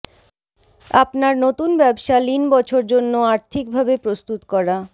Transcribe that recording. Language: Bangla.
আপনার নতুন ব্যবসা লীন বছর জন্য আর্থিকভাবে প্রস্তুত করা